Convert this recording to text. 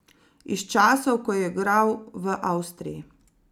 Iz časov, ko je igral v Avstriji.